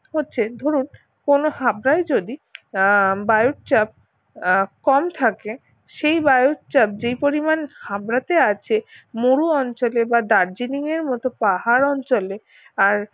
হচ্ছে ধরুন কোন হাবড়ায় যদি আহ বায়ুর চাপ আহ কম থাকে সেই বায়ুর চাপ যেই পরিমাণ হাবরাতে আছে মরু অঞ্চলে বা দার্জিলিং এর মত পাহাড় অঞ্চলে আর